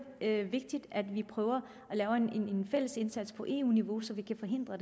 vigtigt at vi prøver at lave en fælles indsats på eu niveau så vi kan forhindre